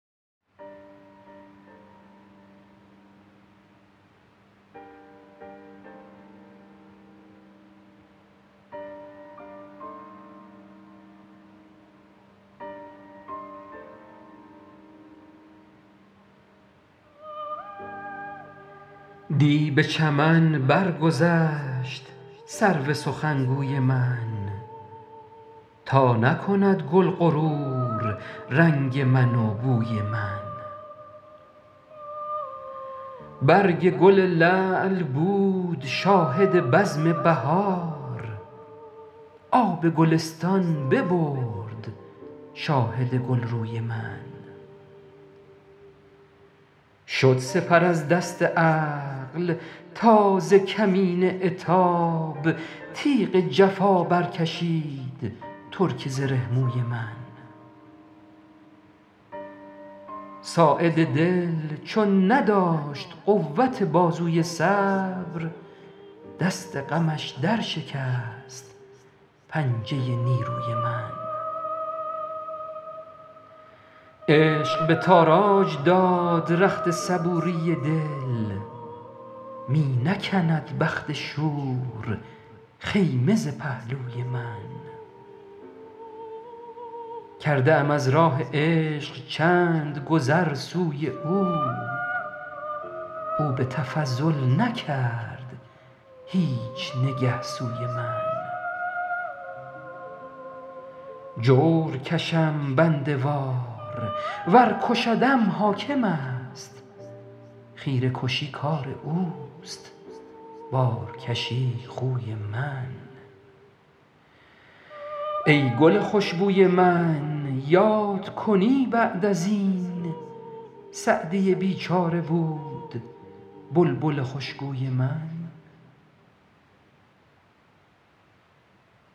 دی به چمن برگذشت سرو سخنگوی من تا نکند گل غرور رنگ من و بوی من برگ گل لعل بود شاهد بزم بهار آب گلستان ببرد شاهد گلروی من شد سپر از دست عقل تا ز کمین عتاب تیغ جفا برکشید ترک زره موی من ساعد دل چون نداشت قوت بازوی صبر دست غمش درشکست پنجه نیروی من عشق به تاراج داد رخت صبوری دل می نکند بخت شور خیمه ز پهلوی من کرده ام از راه عشق چند گذر سوی او او به تفضل نکرد هیچ نگه سوی من جور کشم بنده وار ور کشدم حاکم است خیره کشی کار اوست بارکشی خوی من ای گل خوش بوی من یاد کنی بعد از این سعدی بیچاره بود بلبل خوشگوی من